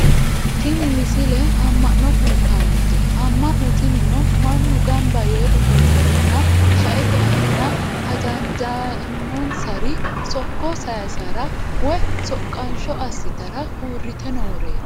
tini misle amma'no kultannote amman'no tinino mannu ganba yee ofolleenna shaete aana hajanla'annonsari sokko sayiissara woye soqaansho assitara uurrite nooreeti